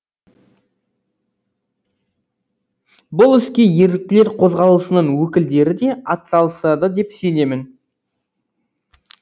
бұл іске еріктілер қозғалысының өкілдері де атсалысады деп сенемін